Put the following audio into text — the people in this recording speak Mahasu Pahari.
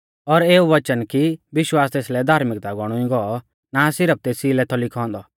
और एऊ वचन कि विश्वास तेसलै धार्मिकता गौणुई गौ ना सिरफ तेसी लै थौ लिखौ औन्दौ